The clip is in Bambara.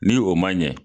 Ni o man ɲɛ